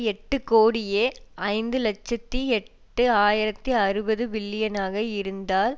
எட்டு கோடியே ஐந்து இலட்சத்தி எட்டு ஆயிரத்தி அறுபது பில்லியனாக இருந்தால்